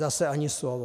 Zase ani slovo.